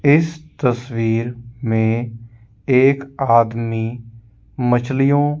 इस तस्वीर में एक आदमी मछलियों--